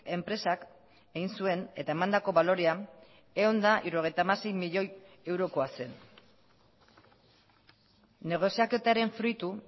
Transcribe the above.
enpresak egin zuen eta emandako balorea ehun eta hirurogeita hamasei milioi eurokoa zen negoziaketaren fruitu